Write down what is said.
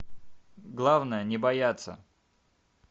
главное не бояться